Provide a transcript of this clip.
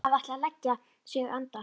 Hann hafði ætlað að leggja sig andar